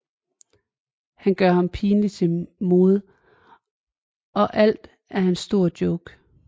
Han gør ham pinligt til mode og alt er en stor joke